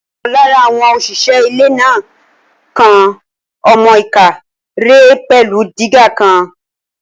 Ọ̀kan lára àwọn òṣìṣẹ́ ilẹ̀ náà kán ọmọ-ìká rẹ̀ pẹ̀lú dígà kan